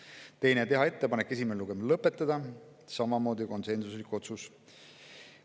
Teiseks otsustati teha ettepanek esimene lugemine lõpetada, mis oli samamoodi konsensuslik otsus.